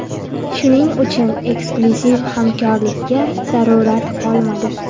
Shuning uchun, eksklyuziv hamkorlikka zarurat qolmadi.